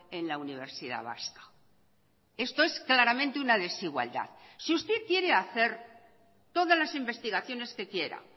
en la universidad vasca esto es claramente una desigualdad si usted quiere hacer todas las investigaciones que quiera